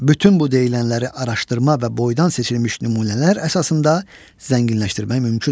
Bütün bu deyilənləri araşdırma və boydan seçilmiş nümunələr əsasında zənginləşdirmək mümkündür.